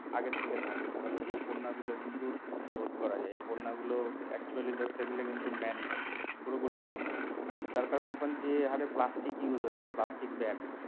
আগের থেকে থাকে তাহলে এই বন্যা গুলো কিন্তু রোধ করা যায়। এই বন্যা গুলো actually ধরতে গেলে কিন্তু man made পুরোপুরি man made তার কারণ এখন যে হারে plastic use হচ্ছে plastic bag